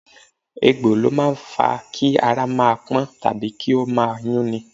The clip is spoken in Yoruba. Egbò ni ó máa fa Kí ara máa pọ́n tàbí kí ó máa yún ni.